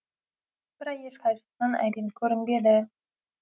бірақ еш қайсысынан әбен көрінбеді